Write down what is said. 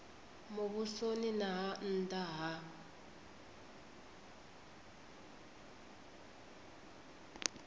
muvhusoni na ha nna ha